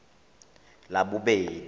labobedi